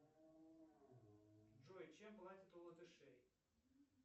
джой чем платят у латышей